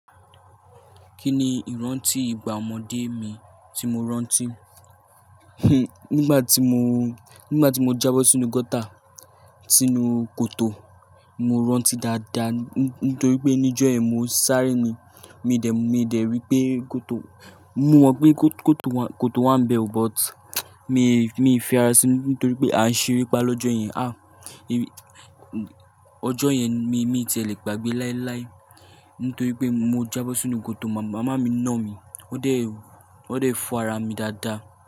Kí ni ìrántí ìgbà ọmọdé mi tí mo rántí? Nígbà tí mo, nígbà tí mo jábọ̀ sínú gọ́tà, sínú kòtò, mo rántí dáadáa nítorí pé níjọ́ yẹn mo sáré ni. Mi dẹ̀, mi dẹ̀ wípé kòtò, mo mọ̀ wípé kòtò wa, kòtò wa ń bẹ o but mi, mi fẹ́ra síi nítorí pé a ń ṣerí pa lọ́jọ́ yẹn. À, ọjọ́ yẹn mi, mi ti lè gbàgbé láíláí nítorí pé mo jábọ̀ sínú kòtò. Màmá mi nà mí, ó dẹ̀, ó dẹ̀ fọ ara mi dáadáa.